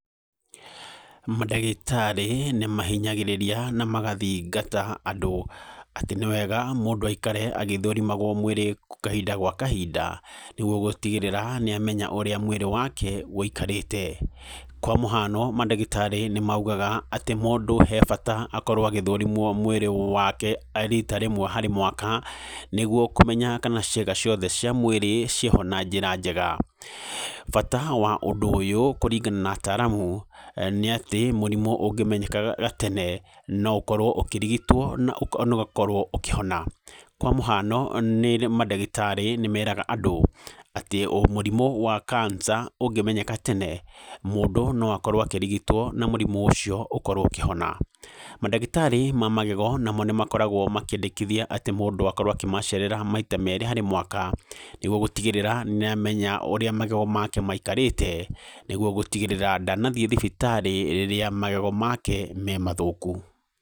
Mandagĩtarĩ nĩmahinyagĩrĩria na magathingata andũ atĩ nĩ wega mũndũ aikare agĩthũrimagwo mwĩrĩ kahinda gwa kahinda, nĩguo gũtigĩrĩra nĩamenya ũrĩa mwĩrĩ wake wĩikarĩte. Kwa mũhano mandagĩtarĩ nĩmaugaga atĩ mũndũ he bata akorwo agĩthũrimwo mwĩrĩ wake rita rĩmwe harĩ mwaka nĩguo kũmenya kana ciĩga ciothe cia mwĩrĩ ciĩho na njĩra njega. Bata wa ũndũ ũyũ kũringana na ataaramu nĩ atĩ mũrimũ ũngĩmenyeka gatene no ũkorwo ũkĩrigitwo na ũkorwo ũkĩhona. Kwa mũhano nĩ, mandagĩtarĩ nĩmeraga andũ atĩ mũrimũ wa cancer ũngĩmenyeka tene, mũndũ no akorwo akĩrigitwo na mũrimũ ũcio ũkorwo ũkĩhona. Mandagĩtarĩ ma magego namo nĩmakoragwo makĩendekithia atĩ mũndũ akorwo akĩmacerera maita merĩ harĩ mwaka, nĩguo gũtigĩrĩra nĩamenya ũrĩa magego make maikarĩte, nĩguo gũtigĩrĩra ndanathiĩ thibitarĩ rĩrĩa magego make me mathũku.